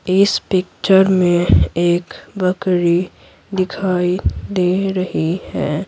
इस पिक्चर में एक बकरी दिखाई दे रही है।